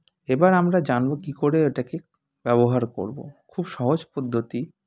এবার আমরা জানব কী করে এটাকে ব্যবহার করবো খুব সহজ পদ্ধতি